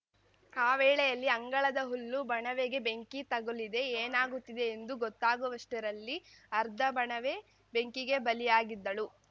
ಆ ವೇಳೆಯಲ್ಲಿ ಅಂಗಳದ ಹುಲ್ಲು ಬಣವೆಗೆ ಬೆಂಕಿ ತಗುಲಿದೆ ಏನಾಗುತ್ತಿದೆ ಎಂದು ಗೊತ್ತಾಗುವಷ್ಟರಲ್ಲಿ ಅರ್ಥ ಬಣವೆ ಬೆಂಕಿಗೆ ಬಲಿಯಾಗಿದ್ದಳು